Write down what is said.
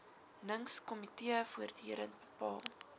ningskomitee voortdurend bepaal